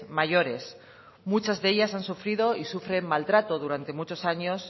mayores muchas de ellas han sufrido y sufren maltrato durante muchos años